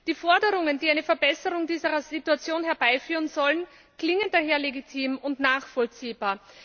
Die Forderungen, die eine Verbesserung dieser Situation herbeiführen sollen, klingen daher legitim und nachvollziehbar.